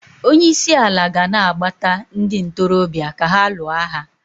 Onye isi ala ga-ana gbata ndị ntorobịa ka ha lụọ agha